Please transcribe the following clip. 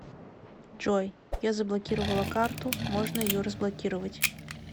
джой я заблокировала карту можно ее разблокировать